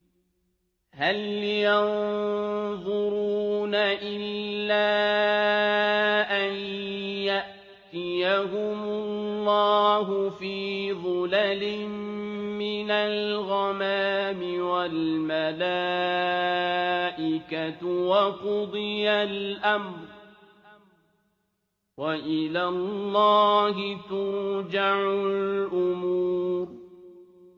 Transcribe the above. هَلْ يَنظُرُونَ إِلَّا أَن يَأْتِيَهُمُ اللَّهُ فِي ظُلَلٍ مِّنَ الْغَمَامِ وَالْمَلَائِكَةُ وَقُضِيَ الْأَمْرُ ۚ وَإِلَى اللَّهِ تُرْجَعُ الْأُمُورُ